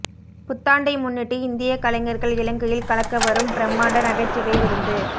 புத்தாண்டை முன்னிட்டு இந்திய கலைஞர்கள் இலங்கையில் கலக்கவரும் பிரமாண்ட நகைச்சுவை விருந்து